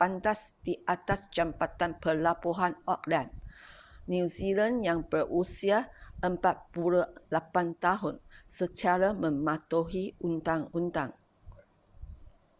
pantas di atas jambatan pelabuhan auckland new zealand yang berusia 48 tahun secara mematuhi undang-undang